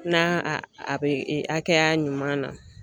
N'a a bɛ hakɛya ɲuman na